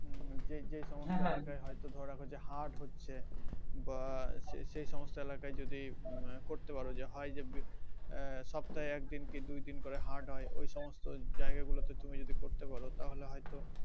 হুম যেই যেই হয়তো ধরে রাখো যে হাট হচ্ছে বা যে সমস্ত এলাকায় যদি করতে পারো হয় যে আহ সপ্তাহে একদিন কি দুই দিন করে হাট হয় ওই সমস্ত জায়গায় গুলোতে তুমি যদি করতে পারো তাহলে হয়তো